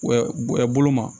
Bolo ma